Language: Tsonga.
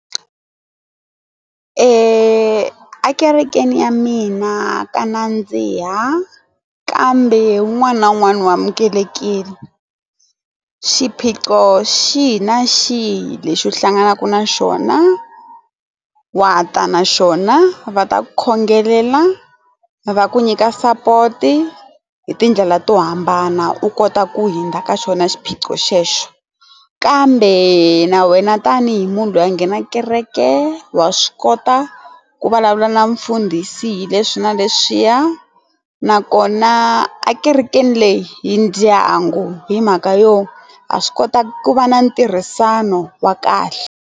Ekerekeni ya mina ka nandziha kambe wun'wana na wun'wana wu amukelekile. Xiphiqo xihi na xihi lexi u hlanganaka na xona wa ta na xona va ta ku khongelela va ku nyika sapoto hi tindlela to hambana u kota ku hundza ka xona xiphiqo xexo kambe na wena tanihi munhu loyi a nghenaka kereke wa swi kota ku vulavula na mfundhisi hileswi na leswiya na kona a ekerekeni leyi hi ndyangu hi mhaka yona ha swi kota ku va na ntirhisano wa kahle.